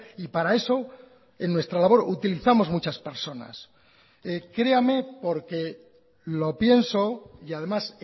y para eso en nuestra labor utilizamos muchas personas creame porque lo pienso y además